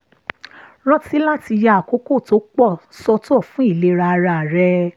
rántí láti ya àkókò tó pọ̀ sọ́tọ̀ fún ìlera ara rẹ